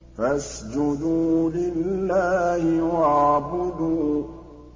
فَاسْجُدُوا لِلَّهِ وَاعْبُدُوا ۩